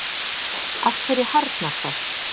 af hverju harðnar það